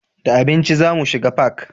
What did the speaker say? Da abinci za mu shiga fak